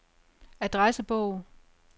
adressebog